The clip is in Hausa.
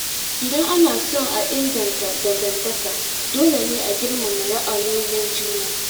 Idan ana so a inganta dangantaka, dole ne a girmama ra’ayoyin juna.